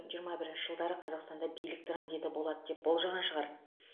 жиырма бірінші жылдары қазақстанда билік транзиті болады деп болжаған шығар